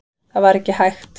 Það var ekki hægt.